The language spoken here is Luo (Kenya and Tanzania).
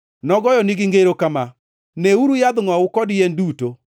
Nogoyonegi ngero kama: “Neuru yadh ngʼowu kod yien duto.